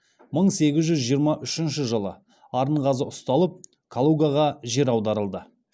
мың сегіз жүз жиырма үшінші жылы арынғазы ұсталып калугаға жер аударылды